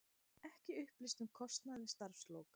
Ekki upplýst um kostnað við starfslok